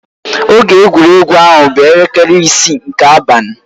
Oge egwuregwu ahụ bụ elekere isii nke abalị.